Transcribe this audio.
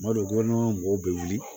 Madu gudɔrɔn mɔgɔw bɛ wuli